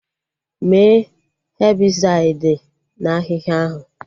Mee Hebịsaịdi na ahịhịa ahụ!